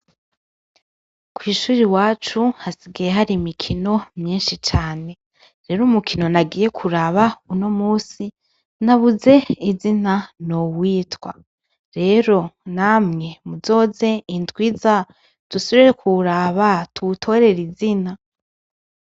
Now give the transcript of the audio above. Kwishuri iwacu hasigaye hari imikino myinshi cane rero umukino nagiye kuraba unomunsi nabuze izina nowitwa rero namwe nzoze ndwi iza dusubire kuwuraba tuwutorere izina.